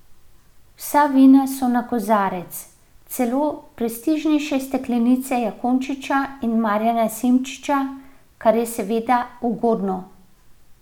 Vsa vina so na kozarec, celo prestižnejše steklenice Jakončiča in Marjana Simčiča, kar je seveda ugodno.